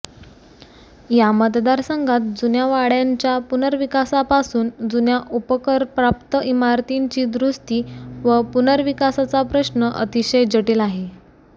या मतदारसंघात जुन्या वाडय़ांच्या पुनर्विकासापासून जुन्या उपकरप्राप्त इमारतींची दुरुस्ती व पुनर्विकासाचा प्रश्न अतिशय जटील आहे